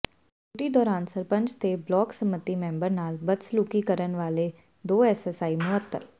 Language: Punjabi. ਡਿਊਟੀ ਦੌਰਾਨ ਸਰਪੰਚ ਤੇ ਬਲਾਕ ਸੰਮਤੀ ਮੈਂਬਰ ਨਾਲ ਬਦਸਲੂਕੀ ਕਰਨ ਵਾਲੇ ਦੋ ਏਐੱਸਆਈ ਮੁਅੱਤਲ